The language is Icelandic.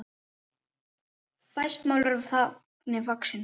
Fæst mál eru þannig vaxin.